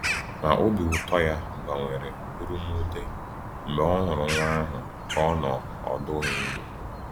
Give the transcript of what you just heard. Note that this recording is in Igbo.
Ma obi ụtọ ya gbanwere bụrụ mwute mgbe o hụrụ nwa ahụ ka ọ nọ ọdụghị ndụ.